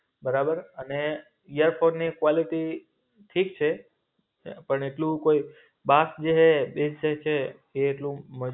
બરાબર અને ઈયરફોનની ક્વોલિટી ઠીક છે. પણ એટલું કોય જે હૈ એ છે કે એટલું નથી.